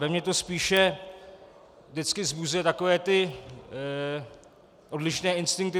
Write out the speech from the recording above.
Ve mně to spíše vždycky vzbuzuje takové ty odlišné instinkty.